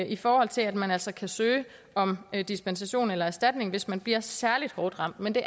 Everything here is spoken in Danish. i forhold til at man altså kan søge om dispensation eller erstatning hvis man bliver særlig hårdt ramt men det